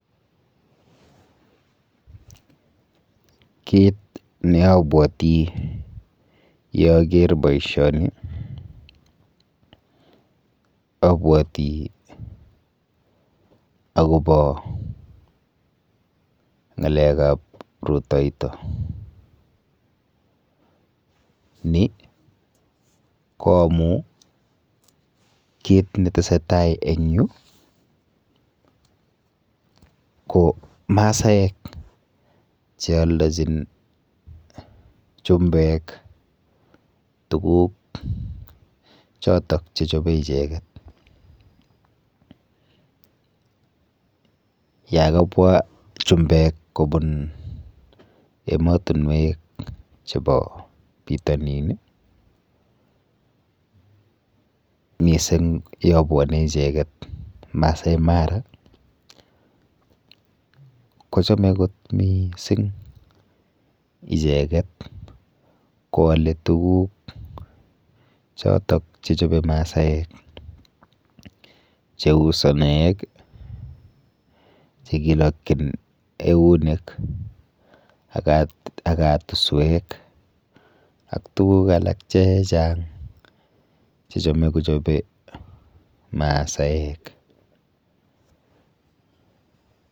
Kit neabwoti yeaker boishoni abwoti akopo ng'alekap rutoito. Ni ko amu kit netesetai eng yu ko masaek chealdochin tuguk chotok chechope icheket. Yakabwa chumbek kobun emotunwek chepo pitonin, mising yobwone icheket Maasai mara kochome kot miising icheket koale tuguk chotok chechope masaek cheu sonoek chekilokchin eunek ak katuswek ak tuguk alak chechang chechome kochope masaek.